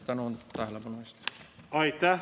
Tänan tähelepanu eest!